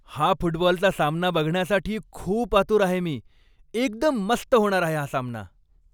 हा फुटबॉलचा सामना बघण्यासाठी खूप आतुर आहे मी! एकदम मस्त होणार आहे हा सामना.